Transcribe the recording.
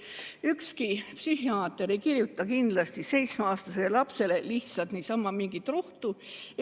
Ükski psühhiaater ei kirjuta kindlasti seitsmeaastasele lapsele lihtsalt niisama mingit rohtu.